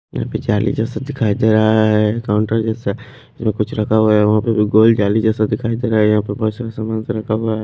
यहां पे जाली जैसा दिखाई दे रहा है काउंटर जैसा कुछ रखा हुआ है वहां पे भी गोल जाली जैसा दिखाई दे रहा है यहां पर बहुत सारा समान सारा रखा हुआ है।